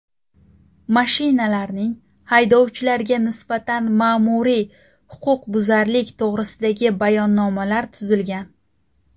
Mashinalarning haydovchilarga nisbatan ma’muriy huquqbuzarlik to‘g‘risidagi bayonnomalar tuzilgan.